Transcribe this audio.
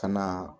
Ka na